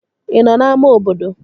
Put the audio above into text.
Ị nọ n'ámá obodo?